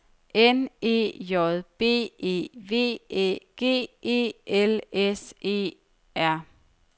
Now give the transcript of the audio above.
N E J B E V Æ G E L S E R